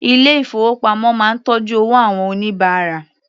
Ilé ìfowópamọ́ máa ń tọ́jú owó àwọn oníbàárà.